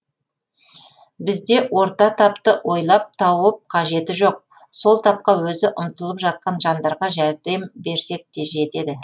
бізде орта тапты ойлап тауып қажеті жоқ сол тапқа өзі ұмтылып жатқан жандарға жәрдем берсек те жетеді